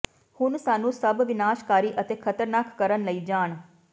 ਹੁਣ ਸਾਨੂੰ ਸਭ ਵਿਨਾਸ਼ਕਾਰੀ ਅਤੇ ਖ਼ਤਰਨਾਕ ਕਰਨ ਲਈ ਜਾਣ